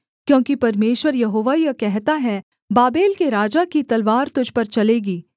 क्योंकि परमेश्वर यहोवा यह कहता है बाबेल के राजा की तलवार तुझ पर चलेगी